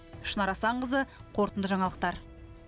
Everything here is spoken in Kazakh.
шынар асанқызы қорытынды жаңалықтар